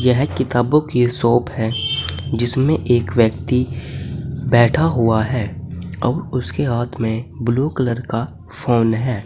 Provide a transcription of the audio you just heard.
यह किताबों की शॉप है जिसमें एक व्यक्ति बैठा हुआ है और उसके हाथ में ब्लू कलर का फोन है।